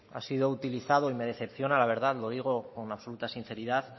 ha sido utilizado y me decepciona la verdad lo digo con absoluta sinceridad